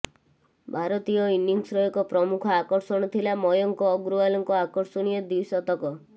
ଭାରତୀୟ ଇନିଂସର ଏକ ମୁଖ୍ୟ ଆକର୍ଷଣ ଥିଲା ମୟଙ୍କ ଅଗ୍ରଓ୍ବାଲଙ୍କ ଆକର୍ଷଣୀୟ ଦ୍ୱିଶତକ